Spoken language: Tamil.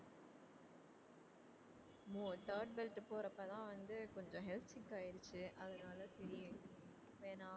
மோ third belt போறப்பதான் வந்து கொஞ்சம் health sick ஆயிருச்சு அதனால சரி வேணாம்